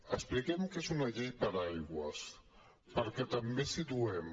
expliquem què és una llei paraigua perquè també ens situem